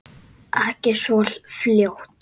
Ekki svo fljótt.